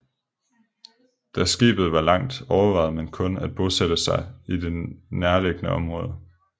Da skibet var langt overvejede man kun at bosætte sig i det nærliggende område